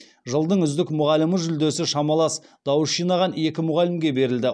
жылдың үздік мұғалімі жүлдесі шамалас дауыс жинаған екі мұғалімге берілді